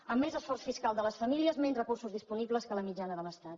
a més esforç fiscal de les famílies menys recursos disponibles que la mitjana de l’estat